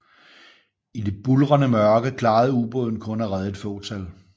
I det buldrende mørke klarede ubåden kun at redde et fåtal